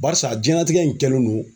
Barisa jiyɛnatigɛ in kɛlen no